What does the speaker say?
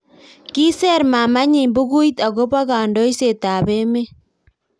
kiser maamanyi bukuit akobo kandoiset ab emet